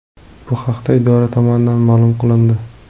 Bu haqda idora tomonidan ma’lum qilindi .